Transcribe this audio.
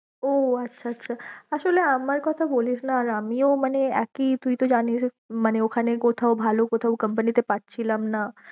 ও আচ্ছা আচ্ছা, আসোলে আমার কথা বলিস না আর আমিও মানে একেই তুই তো যানিস মানে ওখানে কোথাও ভালো কোথাও company তে পাচ্ছিলাম না।